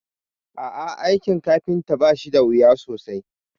A'ah, aikin kafinta bashi dawuya sosai